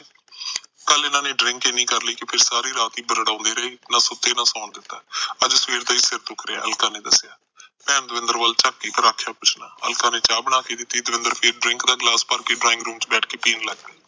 ਕੱਲ ਇਹਨਾ ਨੇ drink ਇਨੀ ਕਰ ਲੀ ਸਾਰੀ ਰਾਤ ਬੁਰਬਰੋਂਦੇ ਰਹੇ ਨਾ ਸੁਤੇ ਨਾ ਸੋਣ ਦਿੱਤਾ ਅੱਜ ਸਵੇਰ ਦਾ ਹੀ ਸਿਰ ਦੁਖ ਰਿਹਾ ਅਲਕਾ ਨੇ ਦੱਸਿਆ ਭੈਣ ਦਵਿੰਦਰ ਵੱਲ ਚਾਕੀ ਪਰ ਆਖਿਆ ਕੁਸ਼ ਨਾ ਅਲਕਾ ਨੇ ਚਾਹ ਬਣਾਕੇ ਦਿੱਤੀ ਦਵਿੰਦਰ ਫਿਰ drink ਦਾ ਗਿਲਾਸ ਭਰ ਕੇ ਡਰਾਇੰਗ ਰੂਮ ਚ ਬੈਠ ਕੇ ਪੀਣ ਲੱਗ ਪਿਆ